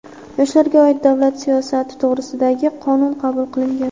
"Yoshlarga oid davlat siyosati to‘g‘risida"gi Qonun qabul qilingan.